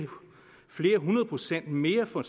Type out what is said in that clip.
flere hundrede procent mere for